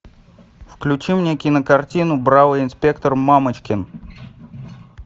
включи мне кинокартину бравый инспектор мамочкин